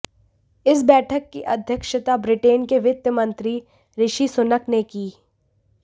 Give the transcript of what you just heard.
इस बैठक की अध्यक्षता ब्रिटेन के वित्त मंत्री ऋषि सुनक ने की